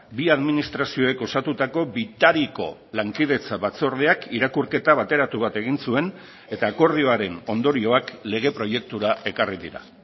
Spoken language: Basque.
bi administrazioek osatutako bitariko lankidetza batzordeak irakurketa bateratu bat egin zuen eta akordioaren ondorioak lege proiektura ekarri dira